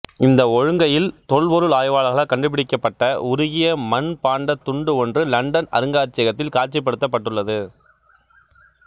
இந்த ஒழுங்கையில் தொல்பொருள் ஆய்வாளர்களால் கண்டுபிடிக்கப்பட்ட உருகிய மட்பாண்டத் துண்டு ஒன்று இலண்டன் அருங்காட்சியகத்தில் காட்சிப்படுத்தப்பட்டுள்ளது